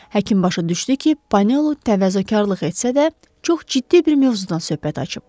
Həkim başa düşdü ki, Panolu təvazökarlıq etsə də, çox ciddi bir mövzudan söhbət açıb.